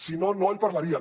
si no no el parlarien